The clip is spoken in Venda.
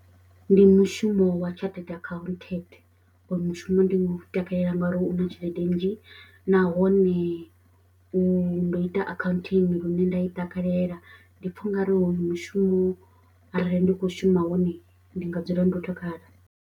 Ndi mushumo wa chartted accountant oyu mushumo ndi nga takalela ngauri u na tshelede nnzhi nahone u ndo ita accounting lune nda i takalela ndi pfha ungari oyu mushumo arali ndi kho shuma wone ndi nga dzula ndo takala.